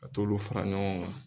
A t'olu fara ɲɔgɔn kan.